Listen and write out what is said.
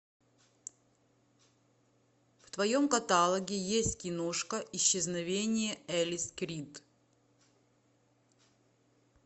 в твоем каталоге есть киношка исчезновение элис крид